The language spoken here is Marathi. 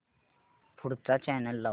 पुढचा चॅनल लाव